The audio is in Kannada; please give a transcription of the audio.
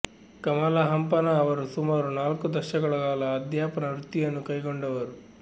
ಕಮಲಾ ಹಂಪನಾ ಅವರು ಸುಮಾರು ನಾಲ್ಕು ದಶಕಗಳ ಕಾಲ ಅಧ್ಯಾಪನ ವೃತ್ತಿಯನ್ನು ಕೈಗೊಂಡವರು